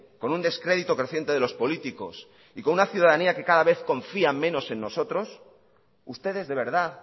con un descrédito creciente de los políticos y con una ciudadanía que cada vez confía menos en nosotros ustedes de verdad